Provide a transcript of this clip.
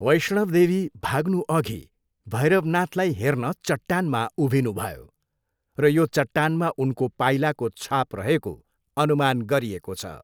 वैष्णव देवी भाग्नुअघि भैरवनाथलाई हेर्न चट्टानमा उभिनुभयो र यो चट्टानमा उनको पाइलाको छाप रहेको अनुमान गरिएको छ।